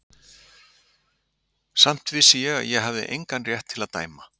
Samt vissi ég að ég hafi engan rétt til að dæma.